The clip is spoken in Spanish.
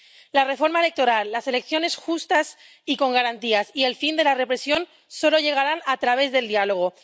La reforma electoral, las elecciones justas y con garantías y el fin de la represión solo llegarán a través del diálogo.